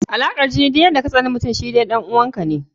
Alaƙar jini, duk yadda katsaninmutum shi dai ɗan uwa ka ne.